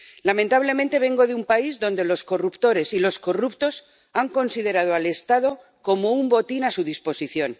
Lamentablemente, vengo de un país donde los corruptores y los corruptos han considerado al Estado como un botín a su disposición.